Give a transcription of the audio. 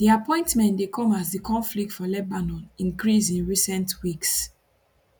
di appointment dey come as di conflict for lebanon increase in recent weeks